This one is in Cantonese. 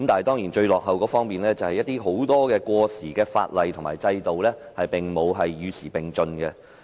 當然，最落後的是很多過時的法例和制度並無與時並進。